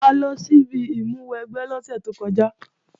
A lọ síbi ìmúwẹgbẹ́ lọ́sẹ̀ tó kọjá